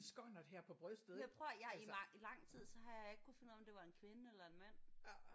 Jamen prøv at høre i mange lang tid så har jeg ikke kunnet finde ud af om det var en kvinde eller en mand